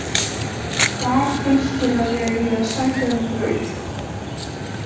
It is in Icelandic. Hvar finnst þér að ég eigi að sækja um brauð?